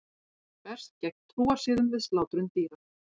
Berst gegn trúarsiðum við slátrun dýra